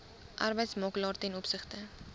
arbeidsmakelaar ten opsigte